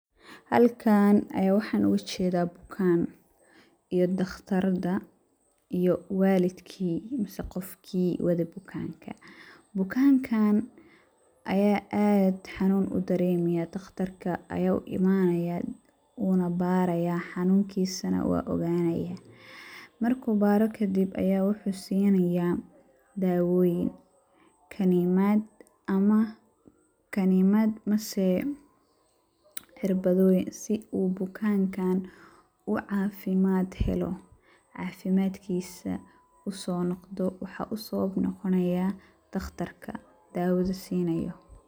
Halkaan ayaan waxaan ooga jedaa bukaan, iyo dhakhtaradda iyo walidkii mase qofkii wade bukaanka. Bukaankan ayaa aad xanuun u daremiyaa ,dhakhtarka ayaa u imanayaa wuuna barayaa xanunkisana waa oganaya .Markuu baaro kadib ayaa waxuu sinayaa dawoyin ,kanimaad ama ,kanimaad mase cirbadoyin si uu bukankaan u cafimaad helo, cafimadkisa usoo noqodo waxaa usoo noqonaya dhakhtarka dawada siinayo.